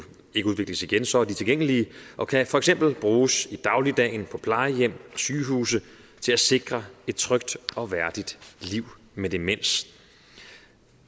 ikke udvikles igen så er de tilgængelige og kan for eksempel bruges i dagligdagen på plejehjem og sygehuse til at sikre et trygt og værdigt liv med demens